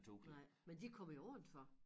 Nej men de kommer jo udenfor